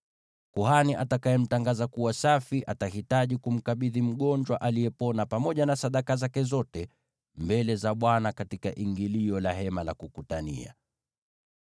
Kuhani atakayemtangaza kuwa safi atahitaji kumkabidhi mgonjwa aliyepona pamoja na sadaka zake zote mbele za Bwana katika ingilio la Hema la Kukutania.